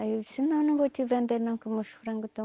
Aí eu disse, não, não vou te vender não que meus frango estão...